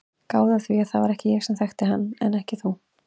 Gáðu að því að það var ég sem þekkti hann en ekki þú.